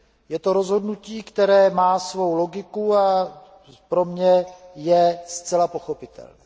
Je to rozhodnutí, které má svou logiku, a pro mě je zcela pochopitelné.